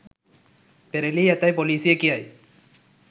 පෙරළී ඇතැයි පොලීසිය කියයි